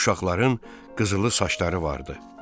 Uşaqların qızılı saçları vardı.